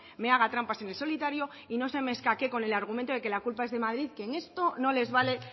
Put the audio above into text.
me haga trampas en el solitario y no se me escaquee con el argumento de que la culpa es de madrid que en esto no les vale